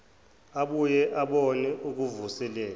ubuye ubone ukuvuselela